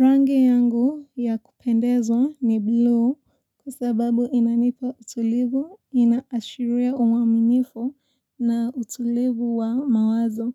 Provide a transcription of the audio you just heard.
Rangi yangu ya kupendezwa ni blue kwa sababu inanipa utulivu, inaashiria uaminifu na utulivu wa mawazo.